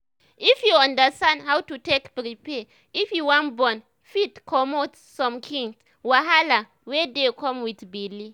if you understand how to take prepare if you wan born fit comot some kind wahala wey dey come with belle